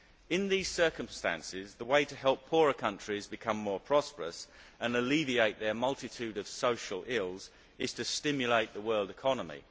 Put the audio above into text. In these circumstances the way to help poorer countries become more prosperous and alleviate their multitude of social ills is to stimulate the world economy.